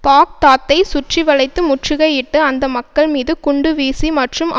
பாக்தாத்தை சுற்றிவளைத்து முற்றுகையிட்டு அந்த மக்கள் மீது குண்டு வீசி மற்றும்